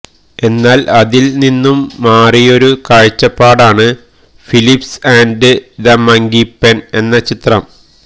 എന്നാല് അതില് നിന്നു മാറിയൊരു കാഴ്ചപ്പാടാണ് Philips and the monkey pen എന്ന ചിത്രം